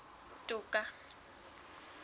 toka